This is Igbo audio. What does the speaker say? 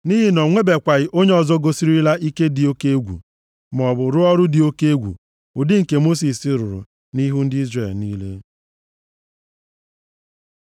Nʼihi na o nwebekwaghị onye ọzọ gosirila ike dị oke egwu, maọbụ rụọ ọrụ dị oke egwu ụdị nke Mosis rụrụ nʼihu ndị Izrel niile.